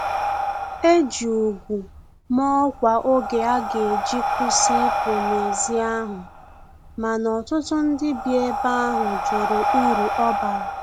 Eji úgwù ma ọkwa oge aga eji kwụsị ipu na ezi ahụ, mana ọtụtụ ndị bi ebe ahụ jụrụ uru ọbara